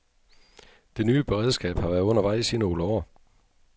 Det nye beredskab har været undervejs i nogle år.